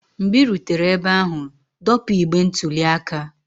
mgbe ị rutere ebe ahụ, dọpụ igbe ntụli aka